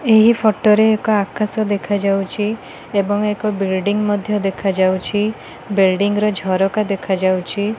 ଏହି ଫଟ ରେ ଏକ ଆକାଶ ଦେଖାଯାଉଚି ଏବଂ ଏକ ବିଲ୍ଡିଙ୍ଗ୍ ମଧ୍ୟ ଦେଖା ଯାଉଚି। ବିଲ୍ଡିଙ୍ଗ୍ ର ଝରକା ଦେଖାଯାଉଛି।